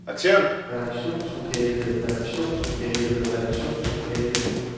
redaktionslokalet redaktionslokalet redaktionslokalet